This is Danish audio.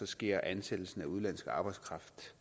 sker ansættelsen af udenlandsk arbejdskraft